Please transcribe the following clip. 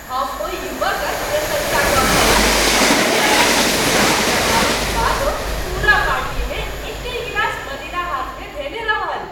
हम ओहि युवकक प्रशँसा कऽ रहल छलहुँ जे अपन मित्रसभक दबावक बादो पूरा पार्टीमे एक्कहि गिलास मदिरा हाथमे धयने रहल।